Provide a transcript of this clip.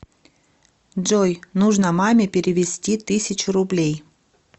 джой нужно маме перевести тысячу рублей